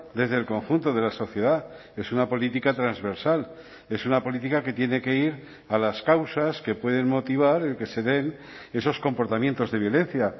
desde el conjunto de la sociedad es una política transversal es una política que tiene que ir a las causas que pueden motivar el que se den esos comportamientos de violencia